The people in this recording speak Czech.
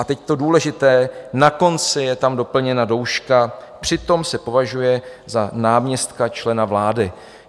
A teď to důležité, na konci je tam doplněna douška - přitom se považuje za náměstka člena vlády.